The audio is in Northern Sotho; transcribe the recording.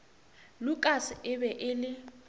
lukas e be e le